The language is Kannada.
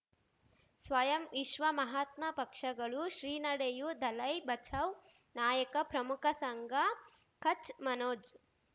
ಸ್ವಯಂ ವಿಶ್ವ ಮಹಾತ್ಮ ಪಕ್ಷಗಳು ಶ್ರೀ ನಡೆಯೂ ದಲೈ ಬಚೌ ನಾಯಕ ಪ್ರಮುಖ ಸಂಘ ಕಚ್ ಮನೋಜ್